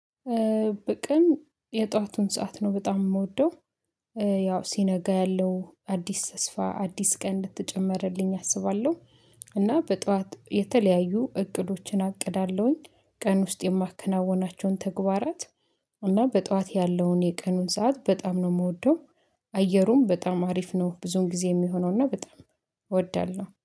በቀን የጧቱን ሰዓት ነው በጣም የምወደው። ያው ሲነጋ ያለው አዲስ ተስፋ አዲስ ቀን እንደተጨመርልኝ አስባለሁ። እና በጧት የተለያዩ እቅዶችን አቅዳለሁኝ ቀን ውስጥ የማከናውናቸውን ተግባራት። እና በጧት ያለውን የቀኑን ሰዓት በጣም ነው የምወደው። አየሩም በጣም አሪፍ ነው ብዙን ጊዜ የሚሆነውና በጣም እወዳለሁ